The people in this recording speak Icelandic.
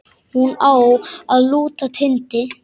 Hún á að lúta Tindi.